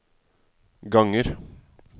ganger